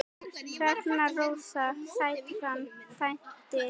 Hrefna Rósa Sætran dæmdi.